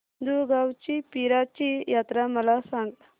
दुगावची पीराची यात्रा मला सांग